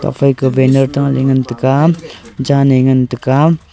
afai te banar ta ley ngantega jaley ngan tega.